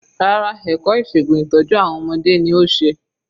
Rárá ẹ̀kọ́ ìṣègun ìtọ́jú àwọn ọmọdé ni ó ṣe.